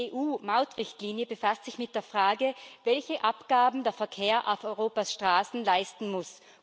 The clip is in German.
Die EU Mautrichtlinie befasst sich mit der Frage, welche Abgaben der Verkehr auf Europas Straßen leisten muss.